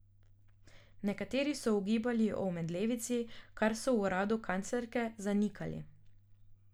Nekateri so ugibali o omedlevici, kar so v uradu kanclerke zanikali.